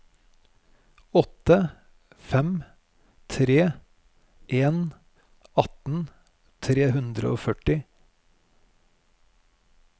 åtte fem tre en atten tre hundre og førti